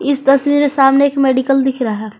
इस तस्वीर में सामने एक मेडिकल दिख रहा।